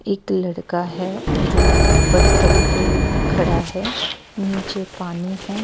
एक लड़का है जो ऊपर तट पे खड़ा है नीचे पानी है।